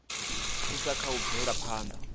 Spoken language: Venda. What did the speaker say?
thusa kha u bvela phanḓa